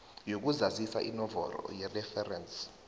yokuzazisa inomboro yereferensi